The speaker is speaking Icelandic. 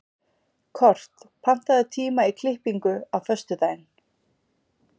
Kort, pantaðu tíma í klippingu á föstudaginn.